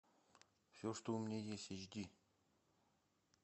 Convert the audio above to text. все что у меня есть эйч ди